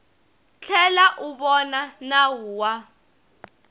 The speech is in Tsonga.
tlhela u vona nawu wa